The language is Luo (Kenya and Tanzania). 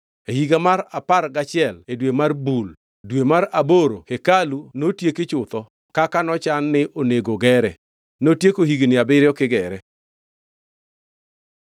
E higa mar apar gachiel e dwe mar Bul, dwe mar aboro hekalu notieki chutho kaka nochan ni onego gere. Notieko higni abiriyo kigere.